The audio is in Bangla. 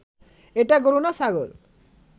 এটা গরু না ছাগল